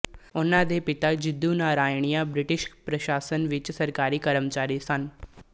ਉਨ੍ਹਾਂ ਦੇ ਪਿਤਾ ਜਿੱਦੂ ਨਾਰਾਇਨਿਆ ਬ੍ਰਿਟਿਸ਼ ਪ੍ਰਸ਼ਾਸਨ ਵਿੱਚ ਸਰਕਾਰੀ ਕਰਮਚਾਰੀ ਸਨ